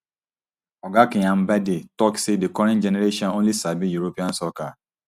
oga kyambadde tok say di current generation only sabi european soccer